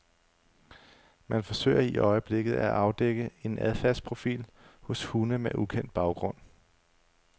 Man forsøger i øjeblikket at afdække en adfærdsprofil hos hunde med ukendt baggrund.